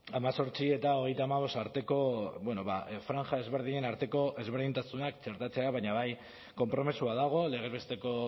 hemezortzi eta hogeita hamabost arteko bueno ba franja desberdinen arteko ezberdintasunak txertatzea baina bai konpromisoa dago legez besteko